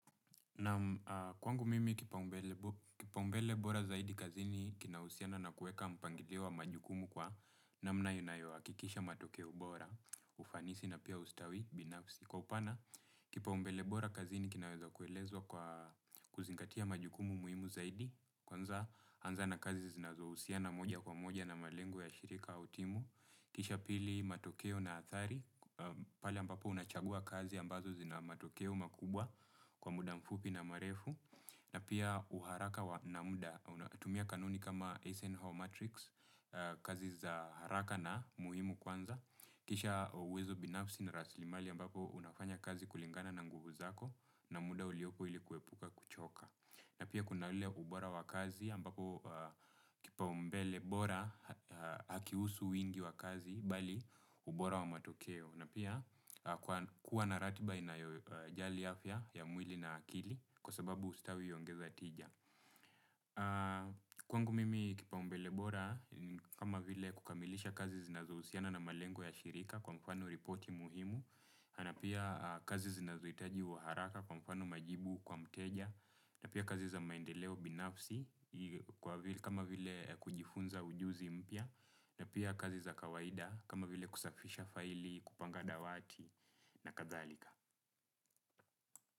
Naam kwangu mimi kipaumbele bora zaidi kazini kina uhusiano na kuweka mpangilio wa majukumu kwa namna inayo hakikisha matokeo bora ufanisi na pia ustawi binafsi. Kwa upana kipaumbele bora kazini kinaweza kuelezwa kwa kuzingatia majukumu muhimu zaidi. Kwanza anza na kazi zinazohusiana moja kwa moja na malengo ya shirika au timu. Kisha pili matokeo na athari pale ambapo unapochagua kazi ambazo zina matokeo makubwa kwa muda mfupi na marefu na pia uharaka na muda, unatumia kanuni kama Eisenhower Matrix, kazi za haraka na muhimu kwanza. Kisha uwezo binafsi na raslimali ambapo unafanya kazi kulingana na nguvu zako na muda uliopo ilikuepuka kuchoka. Na pia kuna ule ubora wa kazi ambapo kipau mbele bora hakihusu wingi wa kazi bali ubora wa matokeo. Na pia kuwa na ratiba inayojali afya ya mwili na akili kwa sababu ustawi huongeza tija. Kwangu mimi kipaumbele bora kama vile kukamilisha kazi zinazohusiana na malengo ya shirika kwa mfano ripoti muhimu. Na pia kazi zinazohitaji wa haraka kwa mfano majibu kwa mteja. Na pia kazi za maendeleo binafsi kama vile kujifunza ujuzi mpya na pia kazi za kawaida kama vile kusafisha faili, kupanga dawati na kadhalika.